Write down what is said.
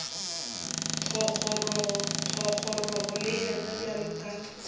thogorogo le yena bjalo ka